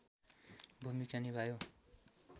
भूमिका निभायो